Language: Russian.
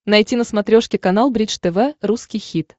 найти на смотрешке канал бридж тв русский хит